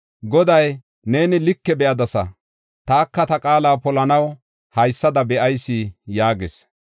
Goday, “Neeni like be7adasa. Taka ta qaala polanaw haysada be7ayis” yaagis.